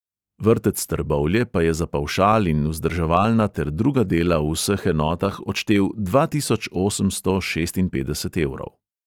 Vrtec trbovlje pa je za pavšal in vzdrževalna ter druga dela v vseh enotah odštel dva tisoč osemsto šestinpetdeset evrov.